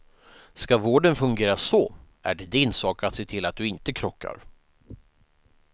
Ska vården fungera så är det din sak att se till att du inte krockar.